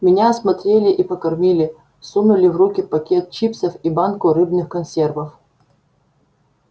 меня осмотрели и покормили сунули в руки пакет чипсов и банку рыбных консервов